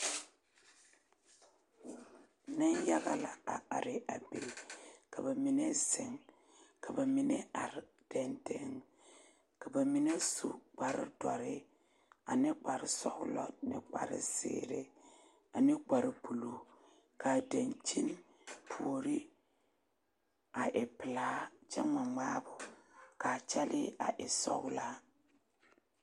Neŋ yaga are a be ka bamine ziŋ ka bamine are ka bamine are dendeŋ ka bamine su kparre duori ane kparre sɔglɔ ane zeree ane kparre buluu ka o puori a e peɛlaa kyɛ gmaa gmaabo ka kyelle a e sɔglaa.